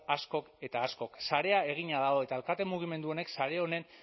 askok eta askok sarea egina dago eta alkate mugimendu honek sare honen